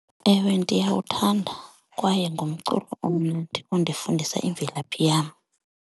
Ewe, ndiyawuthanda kwaye ngumculo omnandi ondifundisa imvelaphi yam.